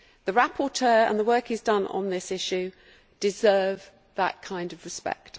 The rapporteur and the work he has done on this issue deserve that kind of respect.